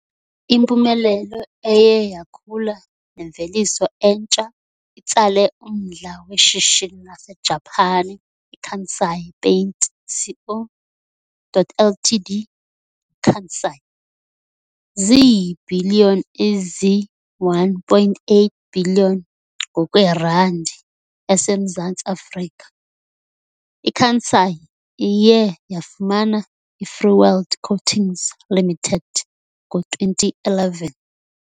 Impumelelo eye yakhula nemveliso entsha itsale umdla weshishini laseJapan iKansai Paint Co. Ltd, "Kansai". Ziibhiliyoni ezi-1.8 billion ngokweRandi yaseMzantsi Afrika, iKansai iye yafumana iFreeworld Coatings Limited ngo-2011.